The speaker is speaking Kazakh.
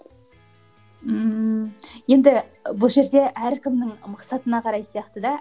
ммм енді і бұл жерде әркімнің мақсатына қарай сияқты да